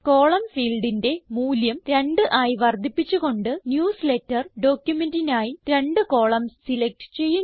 column ഫീൽഡിന്റെ മൂല്യം 2 ആയി വർദ്ധിപ്പിച്ചു കൊണ്ട് ന്യൂസ്ലേറ്റർ ഡോക്യുമെന്റിനായി രണ്ട് കളമൻസ് സിലക്റ്റ് ചെയ്യുന്നു